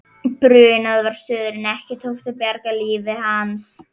Brunað var suður en ekki tókst að bjarga lífi hans.